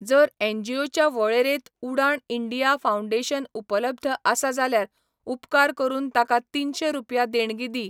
जर एनजीओच्या वळेरेंत उडाण इंडिया फाउंडेशन उपलब्ध आसा जाल्यार उपकार करून ताका तीनशें रुपया देणगी दी.